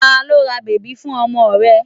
Ta ló ra bèbí fún ọmọ rẹ?